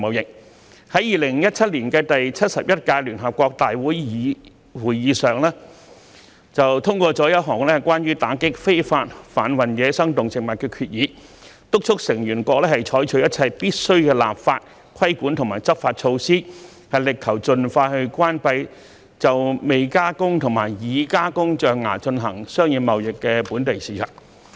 聯合國在2017年的第71屆聯合國大會會議上，通過一項關於打擊非法販運野生動植物的決議，敦促成員國採取一切必須的立法、規管及執法措施，力求盡快關閉就未加工及已加工象牙進行商業貿易的本地市場。